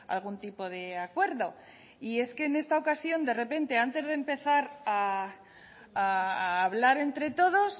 a algún tipo de acuerdo y es que en esta ocasión de repente antes de empezar a hablar entre todos